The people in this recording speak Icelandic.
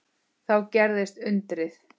Þá gerðist undrið.